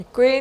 Děkuji.